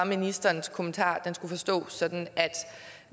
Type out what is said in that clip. ministerens kommentar forstås sådan at